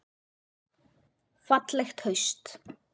Fallegt haust.